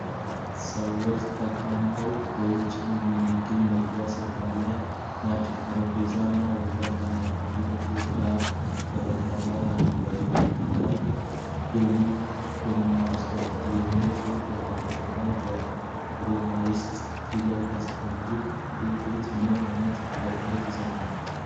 ሰዎች ተቀምጠው ውጪ በሚገኝ የመመገቢያ ስፍራ ናቸው። ጠረጴዛና ወንበሮች ከአረንጓዴ ተክሎች ጋር በረንዳ ላይ አሉ። በግንባታው ላይ 'ዶሚ ቶሚ ሬስቶራንት' የሚል ጽሁፍ በአማርኛና በሮማይስጥ ፊደል ተጽፏል። ይህ ምግብ ቤት ምን አይነት አገልግሎቶችን ይሰጣል?